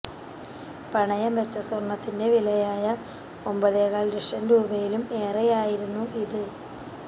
പണയം വെച്ച സ്വർണ്ണത്തിന്റെ വിലയായ ഒമ്പതേകാൽ ലക്ഷം രൂപയിലും ഏറെയായിരുന്നു ഇത്